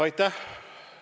Aitäh!